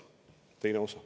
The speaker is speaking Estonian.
Teine osa.